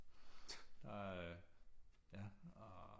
Der ja og